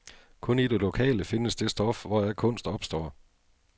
Kun i det lokale findes det stof, hvoraf kunst opstår.